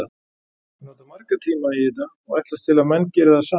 Ég nota marga tíma í þetta og ætlast til að menn geri það sama.